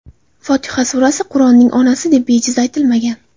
Fotiha surasi Qur’onning onasi, deb bejiz aytilmagan.